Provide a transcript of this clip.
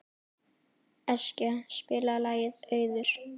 Eskja, spilaðu lagið „Auður“.